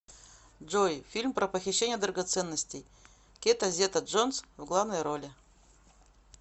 джой фильм про похищение драгоценностей кета зета джонс в главной роли